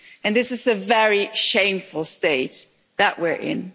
This is a very shameful state that we're in.